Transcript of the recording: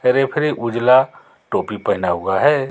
Referee उजला टोपी पहना हुआ है.